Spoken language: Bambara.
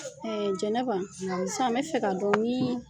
Jɛnɛba san n bɛ fɛ ka dɔn ni